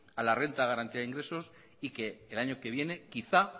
a la eenta de garantía de ingresos y que el año que viene quizá